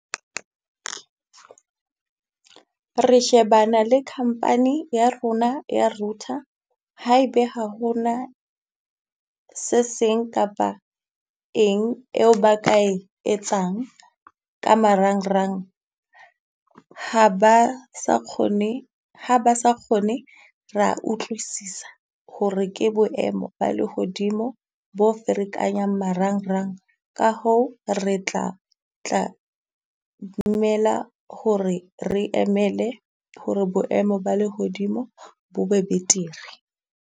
Re shebana le company ya rona ya router, haebe ha ho na se seng kapa eng eo ba ka e etsang ka marangrang. Ha ba sa kgone ha ba sa kgone rea utlwisisa hore ke boemo ba lehodimo bo ferekanyang marangrang. Ka hoo re tla tla dumela hore re emele hore boemo ba lehodimo bo be betere.